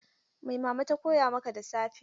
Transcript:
Mai Mama ta koya maka da safe?